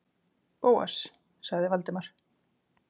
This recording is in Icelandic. Bóas- sagði Valdimar.